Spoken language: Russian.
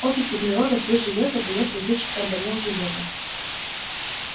окись углерода плюс железо даёт летучий карбонил железа